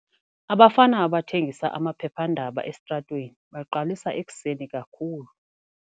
Abafana abathengisa amaphephandaba esitratweni baqalisa ekuseni kakhulu.